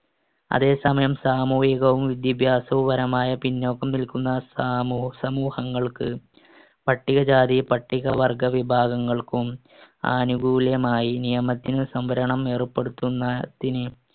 അതേസമയം സാമൂഹികവും വിദ്യാഭ്യാസപരവുമായ പിന്നോക്കം നിൽക്കുന്ന സാമൂ~ സമൂഹങ്ങൾക്ക് പട്ടികജാതി പട്ടികവർഗ്ഗ വിഭാഗങ്ങൾക്കും ആനുകൂല്യമായി നിയമത്തിനു സംവരണം ഏർപ്പെടുത്തുന്നതിന്